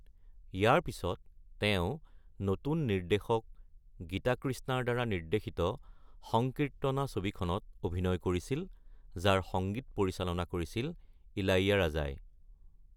ইয়াৰ পিছত তেওঁ নতুন নিৰ্দেশক গীতাকৃষ্ণাৰ দ্বাৰা নিৰ্দ্দেশিত সংকীৰ্ত্তনা ছবিখনত অভিনয় কৰিছিল, যাৰ সংগীত পৰিচালনা কৰিছিল ইলাইয়াৰাজা।